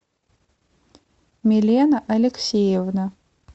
милена алексеевна